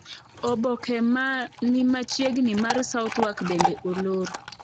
Oboke ma ni machiegni mar Southwark bende olor.